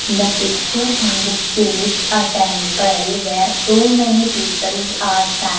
the picture indicates a temple where too many peoples are stan --